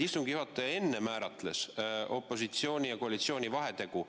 Istungi juhataja enne määratles opositsiooni ja koalitsiooni vahetegu.